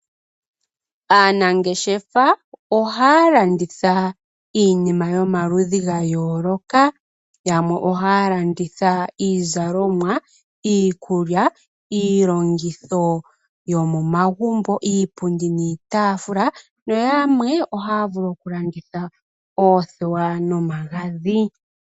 Aanangeshefa ohaya landitha iinima yomaludhi ga yooloka. Yamwe ohaya landitha iizalomwa, iikulya , iilongitho yomomagumbo, iipundi niitaafula nayamwe ohaya vulu oku landitha oothewa nomagadhi.